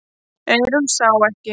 Eyrún sá ekki.